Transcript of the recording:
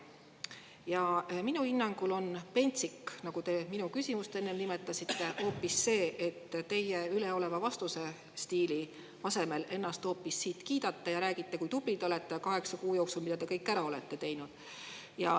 Ja minu hinnangul on pentsik, nagu te minu küsimust enne nimetasite, hoopis see, et te vastamise asemel hoopis üleolevas stiilis kiidate siit ennast ja räägite, kui tubli te olete ja mida te kaheksa kuu jooksul kõik ära olete teinud.